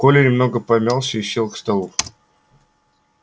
коля немного помялся и сел к столу